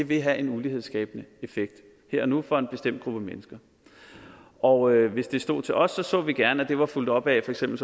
vil have en ulighedsskabende effekt her og nu for en bestemt gruppe mennesker og hvis det stod til os så vi gerne at det var blevet fulgt op af for eksempel